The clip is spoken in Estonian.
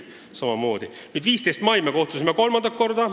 15. mail kogunes majanduskomisjon kolmandat korda.